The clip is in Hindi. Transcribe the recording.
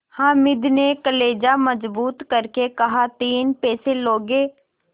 हामिद ने कलेजा मजबूत करके कहातीन पैसे लोगे